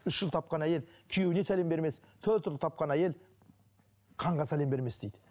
үш ұл тапқан әйел күйеуіне сәлем бермес төрт ұл тапқан әйел ханға сәлем бермес дейді